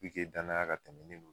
danaya ka tɛmɛn